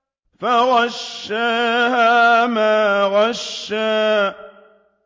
فَغَشَّاهَا مَا غَشَّىٰ